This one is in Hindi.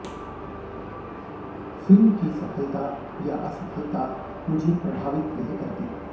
फिल्म की सफलता या असफलता मुझे प्रभावित नहीं करती